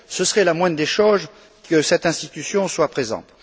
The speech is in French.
Ce serait la moindre des choses que cette institution soit présente.